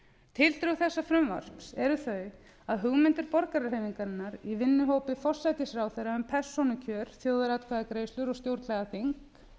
tildrög þessa frumvarps eru þau að hugmyndir borgarahreyfingarinnar í vinnuhópi forsætisráðherra um persónukjör þjóðaratkvæðagreiðslur og stjórnlagaþing